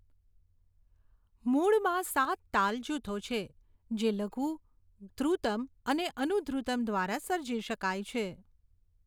મૂળમાં સાત તાલ જૂથો છે, જે લઘુ, ધૃતમ્ અને અનુધ્રુતમ્ દ્વારા સર્જી શકાય છે.